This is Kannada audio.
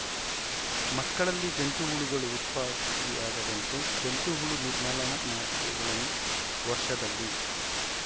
ಮಕ್ಕಳಲ್ಲಿ ಜಂತು ಹುಳುಗಳು ಉತ್ಪತ್ತಿಯಾಗದಂತೆ ಜಂತು ಹುಳು ನಿರ್ಮಲನಾ ಮಾತ್ರೆಗಳನ್ನು ವರ್ಷದಲ್ಲಿ